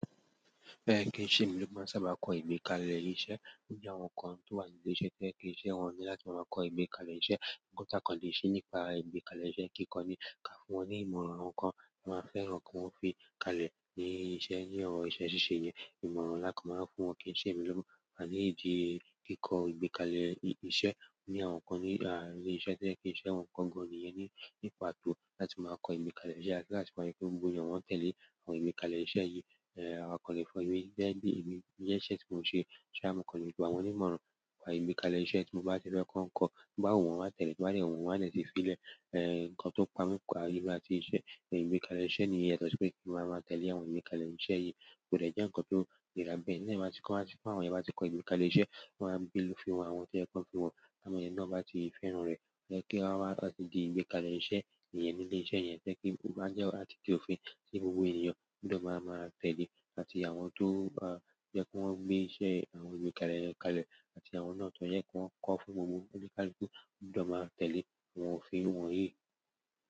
Fẹ́ràn kí n ṣe mi ló máa sábà kọ ìgbékalẹ̀ iṣẹ́ loju àwọn kan tó wà nínú ile iṣẹ́ to je pe iṣẹ́ wọ́n o ní láti máa kọ ìgbékalẹ̀ iṣẹ́. Nkàn ta kan lè ṣe nípa ìgbékalẹ̀ iṣẹ́ kíkọ ní ka fún wọn ní ìmọ̀ràn àwọn nǹkan máa fẹ́ràn kí wọ́n fi kalẹ̀ ní iṣẹ́ ní ọ̀rọ̀ iṣẹ́ ṣíṣe yẹn. Ìmọ̀ràn ńlá kan máa ń fún wọn kí n ṣe mi ló maa wà ní ìdí kíkọ ìgbékalẹ̀ iṣẹ́ ní àwọn kan ní la ilé iṣẹ́ to je pe iṣẹ́ wọn kan gan ni yẹn. Ní ìpàtó láti máa kọ́ ìgbékalẹ̀ iṣẹ́ àti láti máa ri pe gbogbo eyan wọn tẹ̀lé àwọn ìgbékalẹ̀ iṣẹ́ yìí. Ẹ̀ awa kan lè fọ́ emi de n bi emi ni iṣẹ́ tí wọn ṣe. Ṣo ya mo kan lè gba wọn ní ìmọ̀ràn wà ìgbékalẹ̀ iṣẹ́ tí mo bá ti fẹ́ kọ́ ń kọ. To ba wu won, won ma tẹ̀lé, ti o ba de wu wọn, won a de ti fílẹ̀. Ẹ̀ǹ kan tó pami pa emi áti iṣẹ́ ìgbékalẹ̀ iṣẹ́ ní yẹn, ya tọ́ sí pé kí ma máa tẹ̀lé àwọn ìgbékalẹ̀ iṣẹ́ yìí kò dẹ̀ je ǹkan tó nirá bẹ́ẹ̀. Ti eyan bà tí, ba ti ko, ti àwọn yen bati kọ́ àwọn ìgbékalẹ̀ iṣẹ́, wọ́n á gbé ló fi han àwọn tí oye ki wọn fi han. Àwọn ènìyàn náà bá ti fẹ́ràn rẹ̀, jẹ́ kí wọ́n máa ti di ìgbékalẹ̀ iṣẹ́ ìyẹn ní ile iṣẹ́ yẹn. To jẹ́ kí ó máa jẹ́ àti kí òfin tí gbogbo ènìyàn gbọ̀do máa máa tẹ̀lé. Àti àwọn tó bá jẹ́ kí wọ́n gbé iṣẹ́ àwọn ìgbékalẹ̀ kalẹ̀ àti àwọn náà tó jẹ́ kí wọ́n kọ́ fún gbogbo oni káluku ní ọ̀dọ̀ máa tẹ̀lé àwọn òfin wọ̀nyí.